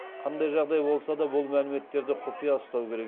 қандай жағдай болса да бұл мәліметтерді құпия ұстау керек